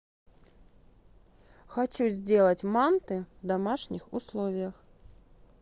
хочу сделать манты в домашних условиях